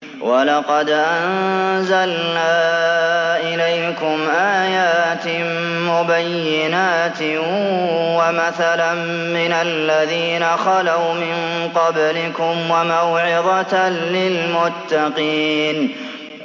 وَلَقَدْ أَنزَلْنَا إِلَيْكُمْ آيَاتٍ مُّبَيِّنَاتٍ وَمَثَلًا مِّنَ الَّذِينَ خَلَوْا مِن قَبْلِكُمْ وَمَوْعِظَةً لِّلْمُتَّقِينَ